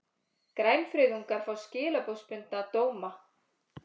Grænfriðungar fá skilorðsbundna dóma